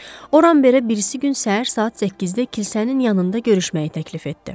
O Ramberə birisi gün səhər saat 8-də kilsənin yanında görüşməyi təklif etdi.